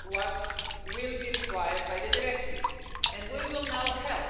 what will be required by the directive and we will now help